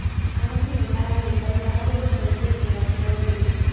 Arĩmi nĩ maranyitanĩra harĩ gũcenjia njĩra cia ũrĩmi.